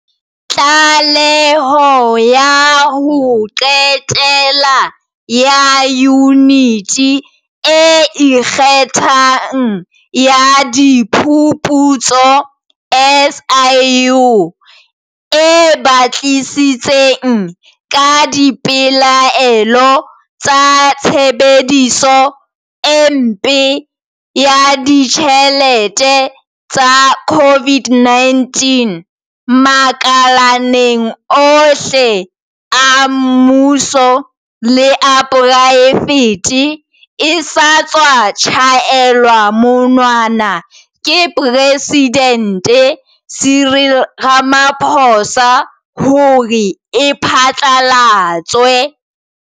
Tlaleho ya ho qetela ya Yuniti e Ikgethang ya Diphuputso, SIU, e batlisitseng ka dipelaelo ka tshebediso e mpe ya ditjhelete tsa COVID-19, makaleng ohle a mmuso le a poraefete e sa tswa tjhaelwa monwana ke Presidente Cyril Ramaphosa hore e phatla latswe.